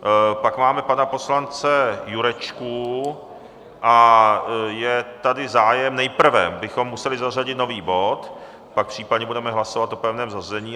Pak máme pana poslance Jurečku a je tady zájem, nejprve bychom museli zařadit nový bod, pak případně budeme hlasovat o pevném zařazení.